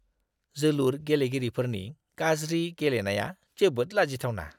जोलुर गेलेगिरिफोरनि गाज्रि गेलेनाया जोबोद लाजिथावना!